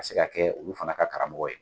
Ka se ka kɛ olu fana ka karamɔgɔ ye.